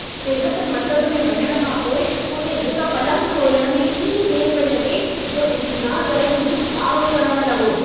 सिहत मर्कज़ में वञणु खां पोइ उते हिक पलंग ॻोल्हणु में एॾी देर पिए लॻी जो इंतिज़ारु करे मुंहिंजो पारो चढ़ण लॻो।